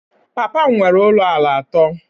Papa m nwere ụlọ ala atọ